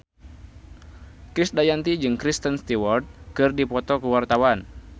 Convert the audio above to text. Krisdayanti jeung Kristen Stewart keur dipoto ku wartawan